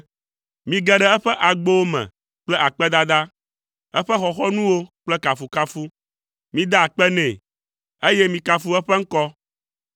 Mige ɖe eƒe agbowo me kple akpedada, eƒe xɔxɔnuwo kple kafukafu; mida akpe nɛ, eye mikafu eƒe eŋkɔ.